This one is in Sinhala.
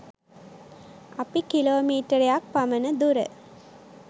අපි කිලෝමීටරයක් පමණ දුර